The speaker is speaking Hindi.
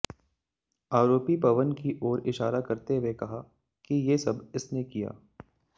आरोपी पवन की ओर इशारा करते हुए कहा कि ये सब इसने किया